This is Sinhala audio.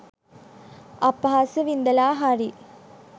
අපහාස විඳලා හරි